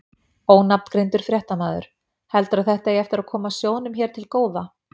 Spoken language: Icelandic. Ónafngreindur fréttamaður: Heldurðu að þetta eigi eftir að koma sjóðnum hér til góða?